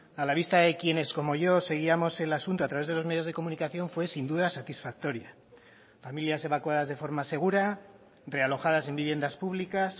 a la vista de quienes como yo seguíamos el asunto a través de los medios de comunicación fue sin duda satisfactoria familias evacuadas de forma segura realojadas en viviendas públicas